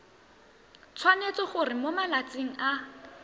tshwanetse gore mo malatsing a